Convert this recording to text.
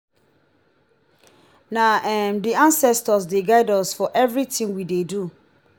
na um di anscestors dey guide us for everytin we dey do.